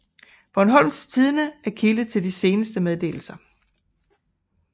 Bornholms Tidende er kilde til de seneste meddelelser